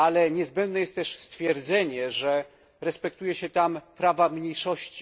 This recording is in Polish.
Niezbędne jest też stwierdzenie, że respektuje się tam prawa mniejszości.